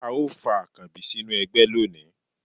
a o fa akanbí sinú ẹgbẹ loní